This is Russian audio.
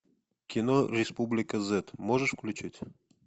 кино республика зет можешь включить